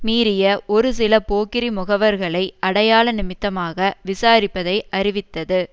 மீறிய ஒரு சில போக்கிரி முகவர்களை அடையாள நிமித்தமாக விசாரிப்பதை அறிவித்தது